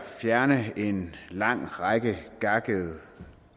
at fjerne en lang række gakkede